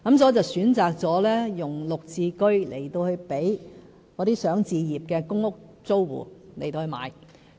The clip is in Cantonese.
所以，我選擇用"綠置居"來讓這些想置業的公屋租戶購買。